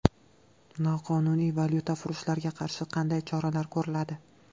Noqonuniy valyutafurushlarga qarshi qanday choralar ko‘riladi?